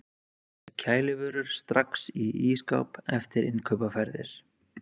Setja kælivörur strax í ísskáp eftir innkaupaferðir.